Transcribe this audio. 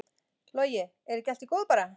Logi: Er ekki allt í góðu bara?